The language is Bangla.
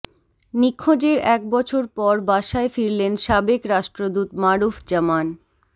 নিখোঁজের এক বছর পর বাসায় ফিরলেন সাবেক রাষ্ট্রদূত মারুফ জামান